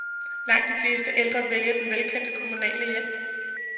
Langt de fleste ældre vælger den velkendte kommunale hjælp.